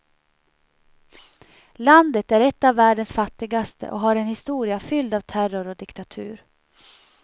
Landet är ett av världens fattigaste och har en historia fylld av terror och diktatur.